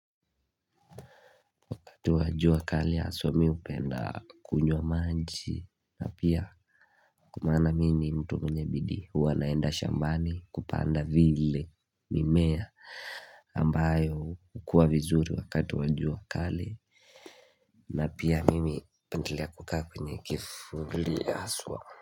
Wakati wa jua kali haswa mi hupenda kunywa maji na pia kumana mini mtu mwenye bidi hua naenda shambani kupanda vile mimea hh akh ambayo ukua vizuri wakati wajua kali na pia mimi upendelea kukaa kwenye kifuli aswa.